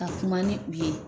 ka kuma ni u ye